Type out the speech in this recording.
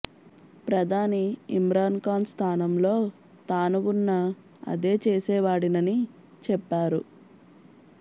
ప్రధాని ఇమ్రాన్ ఖాన్ స్థానంలో తాను ఉన్నా అదే చేసేవాడినని చెప్పారు